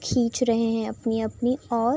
खींच रहे हैं अपनी-अपनी और --